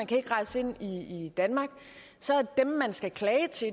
kan rejse ind i i danmark så er dem man skal klage til